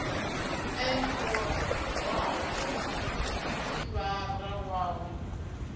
ene o rwaho sivhara wawe